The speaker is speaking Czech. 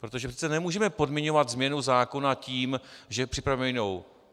Protože přece nemůžeme podmiňovat změnu zákona tím, že připravujeme jinou.